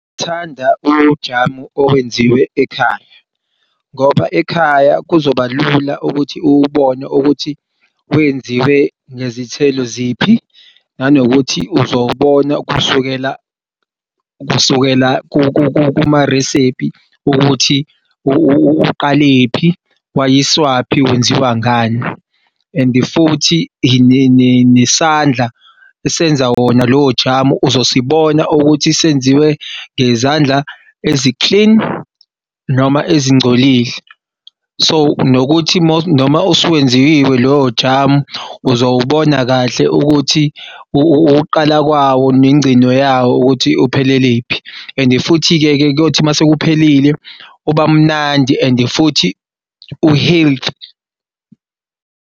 Ngithanda ujamu owenziwe ekhaya ngoba ekhaya kuzoba lula ukuthi uwubone ukuthi wenziwe ngezithelo ziphi nanokuthi uzowubona kusukela kusukela kuma resiphi ukuthi uqalephi wayiswaphi wenziwa ngani. And futhi nesandla esenza wona lowo jamu uzosibona ukuthi senziwe ngezandla ezi-clean noma ezingcolile. So, nokuthi noma usuwenziwe lowo jamu uzowubona kahle ukuthi ukuqala kwawo nengcino yawo ukuthi uphelelephi and futhi-ke kuyothi uma sekuphelile ubamnandi and futhi u-healthy.